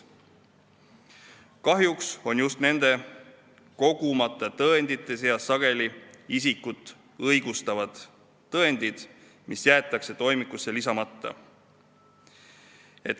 Kahjuks on sageli just nende kogumata tõendite seas isikut õigustavad tõendid, mis jäetakse toimikusse lisamata.